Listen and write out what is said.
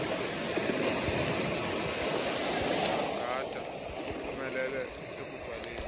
kungcangata uphumeieie ekubhaleni